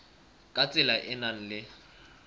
ka tsela e nang le